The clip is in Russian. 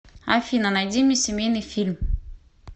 афина найди мне семейный фильм